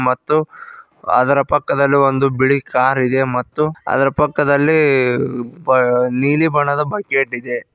ಮತ್ತು ಅದರ ಪಕ್ಕದಲ್ಲಿ ಒಂದು ಬಿಳಿ ಕಾರ್ ಇದೆ ಮತ್ತು ಅದರ ಪಕ್ಕದಲ್ಲಿ ಬಾ ನೀಲಿ ಬಣ್ಣದ ಬಕೆಟ್ ಇದೆ.